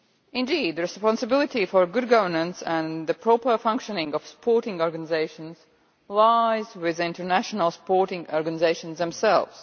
Indeed, the responsibility for good governance and the proper functioning of sports organisations lies with the international sporting organisations themselves.